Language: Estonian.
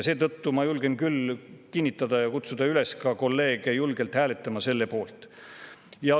Seetõttu julgen ma küll kutsuda kolleege üles selle poolt hääletama.